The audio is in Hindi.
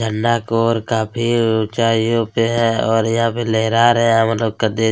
झंडा का ओर काफी ऊंचाईयों पे है और यहाँ पे लेहरा रहे है मतलब कदे --